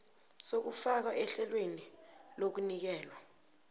sokufakwa ehlelweni lokunikelwa